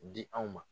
Di anw ma